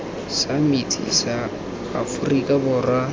sa metsi sa aforika borwa